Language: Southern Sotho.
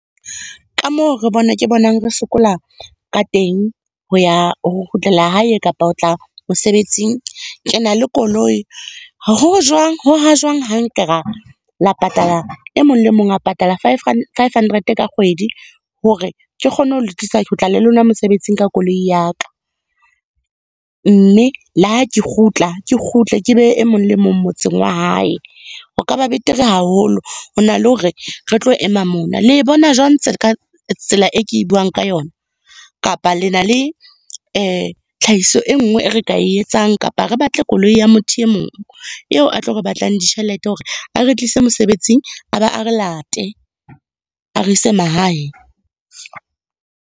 Ka moo ke bonang re sokola ka teng ho ya, ho kgutlela hae kapa ho tla mosebetsing. Ke na le koloi, ho jwang, ho ha jwang ha nka ra, la patala, e mong le mong a patala five hundred ka kgwedi hore ke kgone ho le tlisa, ke le lona mosebetsing ka koloi ya ka. Mme, le ha ke kgutla, ke kgutle ke behe e mong le mong motseng wa hae. Ho ka ba betere haholo, hona le hore re tlo ema mona. Le e bona jwang tsela e ke e buang ka yona? Kapa le na le tlhahiso e nngwe e re ka e etsang, kapa re batle koloi ya motho e mong eo a tlo re batlang ditjhelete hore a re tlise mosebetsing, a ba a re late, a re ise mahae.